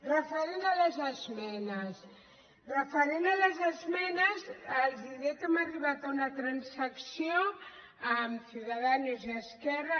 referent a les esmenes referent a les esmenes els diré que hem arribat a unes transaccions amb ciuda·danos i esquerra